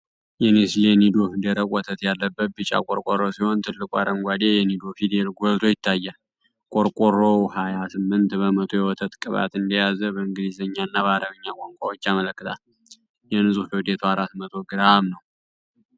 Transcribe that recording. የኔስሌ ኒዶ ደረቅ ወተት ያለበት ቢጫ ቆርቆሮ ሲሆን፣ ትልቁ አረንጓዴ የ"NIDO" ፊደል ጎልቶ ይታያል። ቆርቆሮው ሃያ ስምንት በመቶ የወተት ቅባት እንደያዘ በእንግሊዝኛ እና በአረብኛ ቋንቋዎች ያመለክታል። የንፁህ ክብደቱ አራት መቶ ግራም ነው።